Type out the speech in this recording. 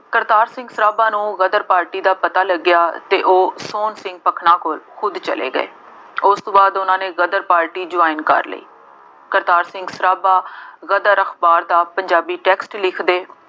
ਕਰਤਾਰ ਸਿੰਘ ਸਰਾਭਾ ਨੂੰ ਗਦਰ ਪਾਰਟੀ ਦਾ ਪਤਾ ਲੱਗਿਆ ਅਤੇ ਉਹ ਸੋਹਣ ਸਿੰਘ ਭਕਨਾ ਕੋਲ ਉੱਡ ਚਲੇ ਗਏ। ਉਸ ਤੋਂ ਬਾਅਦ ਉਹਨਾ ਨੇ ਗਦਰ ਪਾਰਟੀ join ਕਰ ਲਈ। ਕਰਤਾਰ ਸਿੰਘ ਸਰਾਭਾ ਗਦਰ ਅਖਬਾਰ ਦਾ ਪੰਜਾਬੀ text ਲਿਖਦੇ